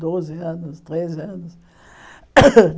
Doze anos, treze anos.